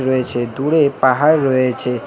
রয়েছে দূরে পাহাড় রয়েছে।